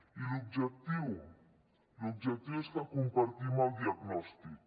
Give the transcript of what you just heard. i l’objectiu l’objectiu és que compartim el diagnòstic